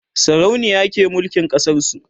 sarauniya ke mulkin ƙasar su